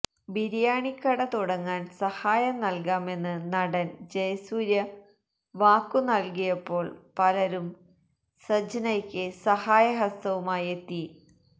ബിരിയാണിക്കട തുടങ്ങാൻ സഹായം നൽകാമെന്ന് നടൻ ജയസൂര്യ വാക്കു നൽകിയപ്പോൾ പലരും സജ്നയ്ക്ക് സഹായ ഹസ്തവുമായി എത്തി